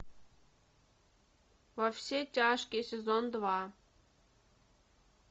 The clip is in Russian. во все тяжкие сезон два